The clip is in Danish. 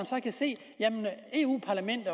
så kan se